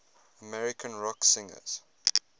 american rock singers